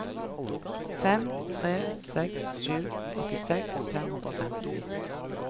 fem tre seks sju åttiseks fem hundre og femti